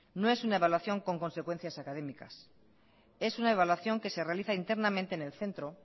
no es una evaluación con consecuencias académicas es una evaluación que se realiza internamente en el centro